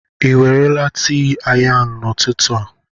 Ị ewerela tii ayan n'ụtụtụ a?